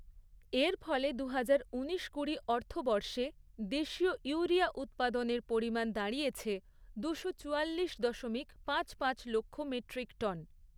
এর ফলে দু হাজার ঊনিশ কুড়ি অর্থবর্ষে দেশীয় ইউরিয়া উৎপাদনের পরিমাণ দাঁডি়য়েছে দুশো চুয়াল্লিশ দশমিক পাঁচ পাঁচ লক্ষ মেট্রিক টন।